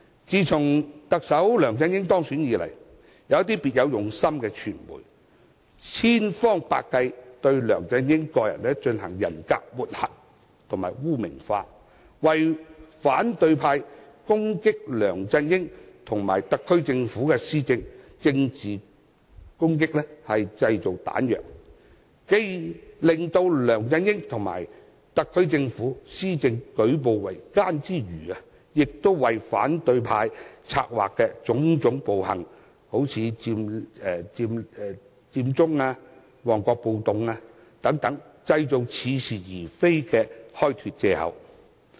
自從特首梁振英當選以來，一些別有用心的傳媒千方百計對他進行人格抹黑及污名化，製造彈藥讓反對派對梁振英及特區政府施政進行政治攻擊，既令梁振英及特區政府施政舉步維艱，亦為反對派策劃的種種暴行，例如佔中和旺角暴動，製造似是而非的開脫藉口。